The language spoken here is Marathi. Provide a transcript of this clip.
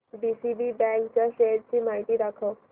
डीसीबी बँक च्या शेअर्स ची माहिती दाखव